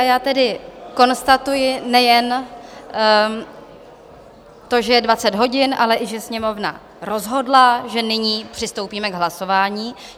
A já tedy konstatuji nejen to, že je 20 hodin, ale i že Sněmovna rozhodla, že nyní přistoupíme k hlasování.